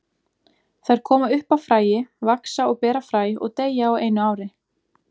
Þær koma upp af fræi, vaxa og bera fræ og deyja á einu ári.